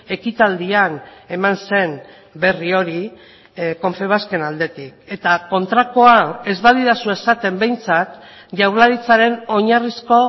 ekitaldian eman zen berri hori confebasken aldetik eta kontrakoa ez badidazu esaten behintzat jaurlaritzaren oinarrizko